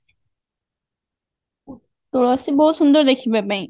ତୁଳସୀ ବହୁତ ସୁନ୍ଦର ଦେଖିବା ପାଇଁ